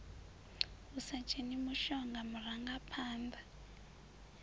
hu sa dzheni mushonga murangaphanḓa